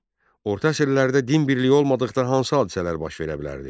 Orta əsrlərdə din birliyi olmadıqda hansı hadisələr baş verə bilərdi?